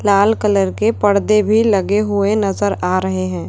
लाल colour के पर्दे भी लगे हुए नजर आ रहे हैं।